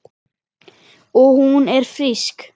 Og hún er frísk.